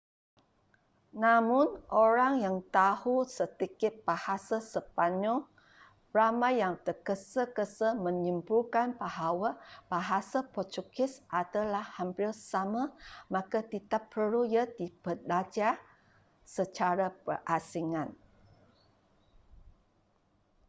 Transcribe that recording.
namun orang yang tahu sedikit bahasa sepanyol ramai yang terges-gesa menyimpulkan bahwa bahasa portugis adalah hampir sama maka tidak perlu ia dibelajar secara berasingan